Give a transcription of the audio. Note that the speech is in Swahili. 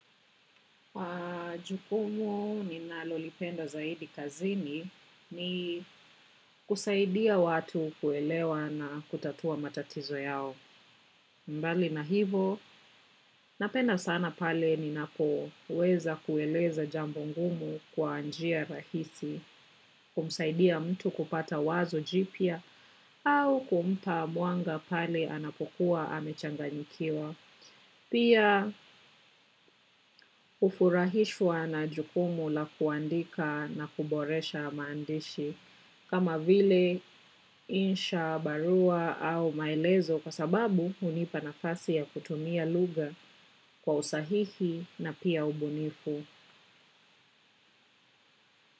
Jukumu ninalolipenda zaidi kazini ni kusaidia watu kuelewa na kutatua matatizo yao mbali na hivo napenda sana pale ninapoweza kueleza jambo ngumu kwa njia rahisi kumsaidia mtu kupata wazo jipya au kumpa mwanga pale anapokuwa amechanganyikiwa pia hufurahishwa na jukumu la kuandika na kuboresha maandishi kama vile insha barua au maelezo kwa sababu hunipa nafasi ya kutumia lugha kwa usahihi na pia ubunifu.